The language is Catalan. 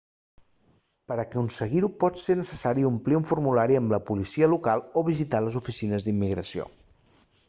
per aconseguir-ho pot ser necessari omplir un formulari amb la policia local o visitar les oficines d'immigració